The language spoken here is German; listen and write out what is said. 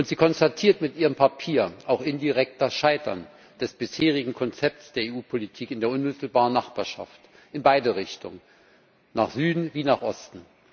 Sie konstatiert mit ihrem Papier auch indirekt das Scheitern des bisherigen Konzepts der EU Politik in der unmittelbaren Nachbarschaft in beide Richtungen, nach Süden wie nach Osten.